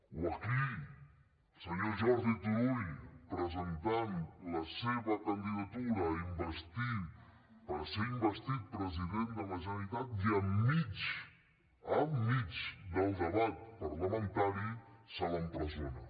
o aquí al senyor jordi turull que presentava la seva candidatura per ser investit president de la generalitat que enmig del debat parlamentari se l’empresona